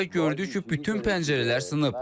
Və gördük ki, bütün pəncərələr sınıb.